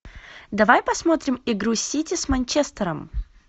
давай посмотрим игру сити с манчестером